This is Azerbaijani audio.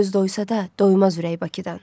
Göz doysa da doymaz ürək Bakıdan.